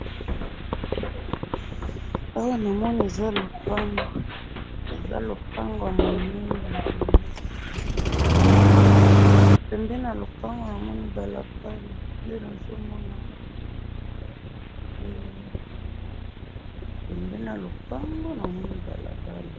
Awa na moni eza lopango, eza lopango ya munene, pembeni ya lopango na moni balabala, nde nazo mona yango wana